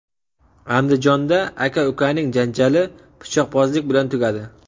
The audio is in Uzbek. Andijonda aka-ukaning janjali pichoqbozlik bilan tugadi.